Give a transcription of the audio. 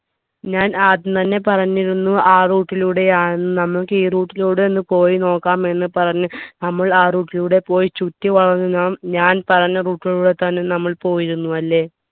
ഞാൻ ആദ്യം തന്നെ പറഞ്ഞിരുന്നു ആ route ലൂടെയാന്ന് നമുക്ക് ഈ route ലൂടെ ഒന്ന് പോയി നോക്കാം എന്ന് പറഞ്ഞ് നമ്മൾ ആ route ലൂടെ പോയി ചുറ്റിവളഞ്ഞ് നാം ഞാൻ പറഞ്ഞ route ലൂടെ തന്നെ നമ്മൾ പോയിരുന്നു അല്ലെ